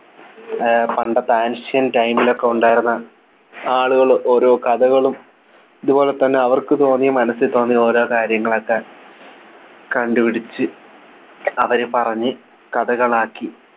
ഏർ പണ്ടത്തെ Ancient time ലൊക്കെ ഉണ്ടായിരുന്ന ആളുകൾ ഓരോ കഥകളും ഇതുപോലെ തന്നെ അവർക്ക് തോന്നിയ മനസ്സിൽ തോന്നിയ ഓരോ കാര്യങ്ങളൊക്കെ കണ്ടുപിടിച്ച് അവരെ പറഞ്ഞു കഥകൾ ആക്കി